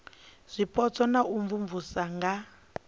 zwipotso na u imvumvusa nga